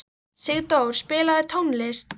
Sigdór, spilaðu tónlist.